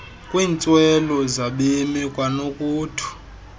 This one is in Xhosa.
kwiintswelo zabemi kwanokuthu